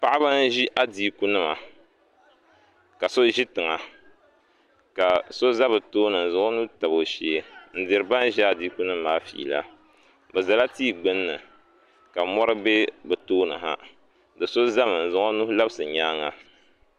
Paɣaba n adiiku nima ka so zi tiŋa ka so za bi tooni n zaŋ o nuu tabi o shɛɛ n diri ban zi adiiku nima maa feela bi zala tia gbinni ka mori bɛ bi tooni ha do so zami n zaŋ o nuhi labisi o yɛanga.